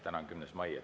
Täna on 10. mai.